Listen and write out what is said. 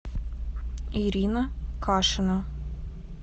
ирина кашина